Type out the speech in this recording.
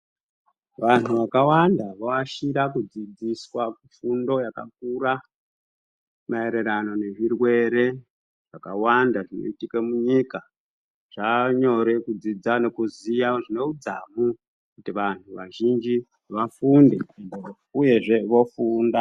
Vanhu vakawanda voashira kudzidziswa, fundo yakakura, maererano nezvirwere zvakawanda zvinoitike munyika. Zvanyore kudzidza nekuziya zvine udzamu kuti vanhu vazhinji vafunde uyezve vofunda.